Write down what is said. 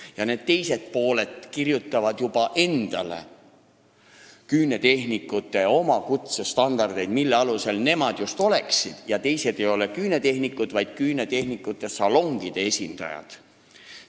Ja see teine pool kirjutab juba endale küünetehniku kutsestandardeid, mille alusel nemad just oleksid küünetehnikud ja teised ei oleks küünetehnikud, vaid küünetehnikute salongide esindajad.